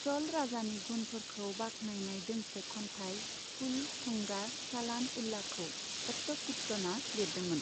चल राजानि गुनफोरखौ बाख्नायनाय दोंसे खन्थाइ 'कुल'थुंगा चालान उला'खौ अट्टाकुट्टनआ लिरदोंमोन।